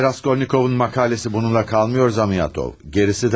Cənab Raskolnikovun məqaləsi bununla qalmır, Zamiatov, gerisi də var.